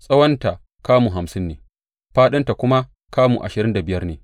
Tsawonta kamu hamsin ne, fāɗinta kuma kamu ashirin da biyar ne.